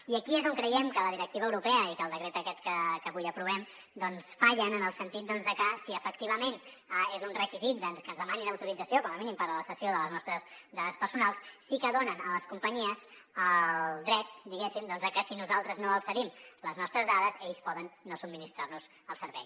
i aquí és on creiem que la directiva europea i que el decret aquest que avui aprovem fallen en el sentit que si efectivament és un requisit que ens demanin autorització com a mínim per la cessió de les nostres dades personals sí que donen a les companyies el dret diguéssim que si nosaltres no els cedim les nostres dades ells poden no subministrar nos el servei